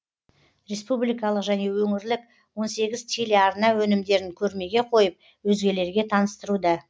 республикалық және өңірлік он сегіз телеарна өнімдерін көрмеге қойып өзгелерге таныстыруда